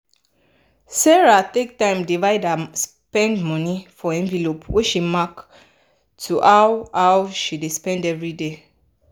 sarah take time divide her spend money for envelope wey she mark to how how she dey spend everyday.